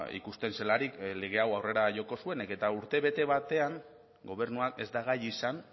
ikusten zelarik lege hau aurrera joko zuenik eta urtebete batean gobernuak ez da gai izan